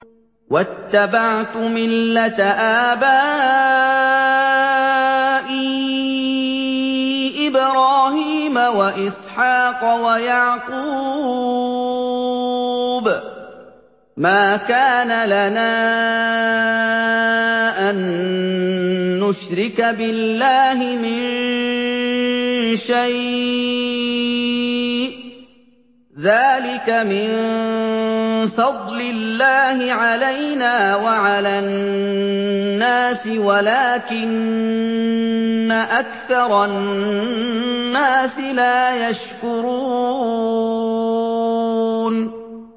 وَاتَّبَعْتُ مِلَّةَ آبَائِي إِبْرَاهِيمَ وَإِسْحَاقَ وَيَعْقُوبَ ۚ مَا كَانَ لَنَا أَن نُّشْرِكَ بِاللَّهِ مِن شَيْءٍ ۚ ذَٰلِكَ مِن فَضْلِ اللَّهِ عَلَيْنَا وَعَلَى النَّاسِ وَلَٰكِنَّ أَكْثَرَ النَّاسِ لَا يَشْكُرُونَ